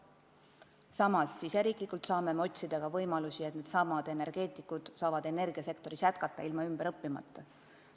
Samas, me saame ise otsida võimalusi, et energeetikud saaksid energiasektoris jätkata ilma ümber õppimata.